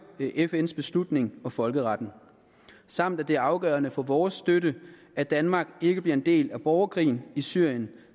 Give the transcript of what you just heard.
fns beslutning og folkeretten samt at det er afgørende for vores støtte at danmark ikke bliver en del af borgerkrigen i syrien